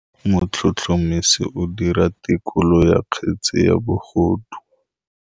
Motlhotlhomisi o dira têkolô ya kgetse ya bogodu.